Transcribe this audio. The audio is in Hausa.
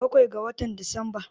Bakwai ga watan Disamba.